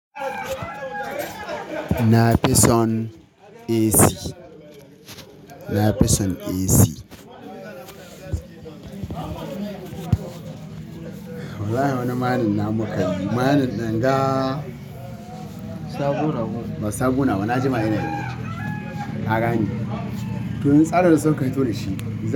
Na fi son AC. Na fi son AC. Wallahi wani marina muka yi. Ma'anin ɗan ga sabo, sabo nawa na ji ma yana yi. Na gani. To in tsare sauka yi to da shi.